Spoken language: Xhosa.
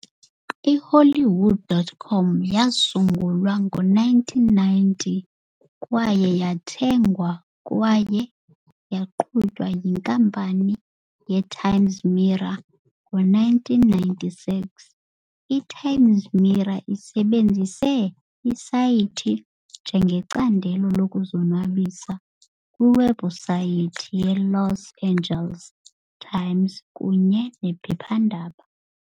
I-Hollywood.com yasungulwa ngo-1990 kwaye yathengwa kwaye yaqhutywa yiNkampani ye-Times Mirror ngo-1996. I-Times Mirror isebenzise isayithi njengecandelo lokuzonwabisa kwiwebhusayithi yeLos Angeles Times kunye nephephandaba.